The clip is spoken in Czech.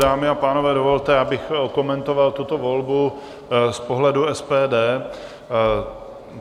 Dámy a pánové, dovolte, abych okomentoval tuto volbu z pohledu SPD.